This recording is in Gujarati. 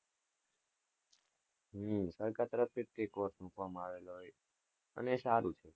હમ સરકાર તરફ થી જ મુકવા માં આવેલા હોય છે અને એ સારું છે.